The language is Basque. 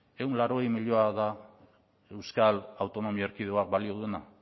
ehun eta laurogei milioi da euskal autonomi erkidegoak balio duena